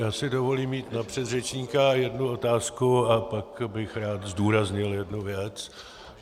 Já si dovolím mít na předřečníka jednu otázku a pak bych rád zdůraznil jednu věc.